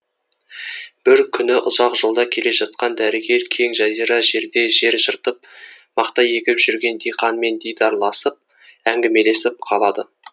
бір күні ұзақ жолда келе жатқан дәрігер кең жазира жерде жер жыртып мақта егіп жүрген диқанмен дидарласып әңгімелесіп қалады